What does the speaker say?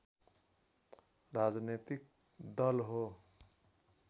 राजनीतिक दल हो